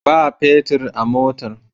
Ba petir a motan.